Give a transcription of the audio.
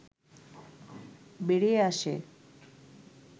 বেরিয়ে আসে